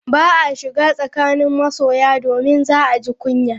Ba a shiga tsakanin masoya, domin za a ji kunya.